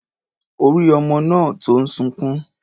Ó rí ọmọ náà tó ń sunkún.